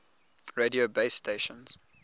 radio base stations